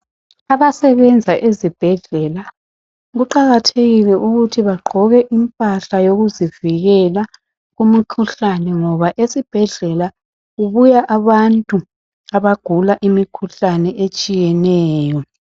Abasebenza ezibhedlela kuqakathekile ukuthi bagqoke imphala yokuzivikela kumikhuhlane ngoba esibhedleala kubuya abantu abagula imkhuhlane etshiyeneyo.